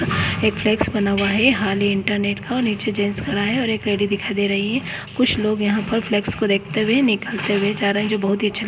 एक फ्लेक्स बना हुआ है हाल ही इंटरनेट का नीचे जेंट्स खड़ा है और एक लेडीस दिखायी दे रही है कुछ लोग यहां पर फ्लेक्स को देखते हुए निकलते हुए जा रहे हैं जो बहुत ही अच्छा--